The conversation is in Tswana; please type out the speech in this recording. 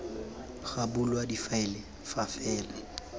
ga bulwa difaele fa fela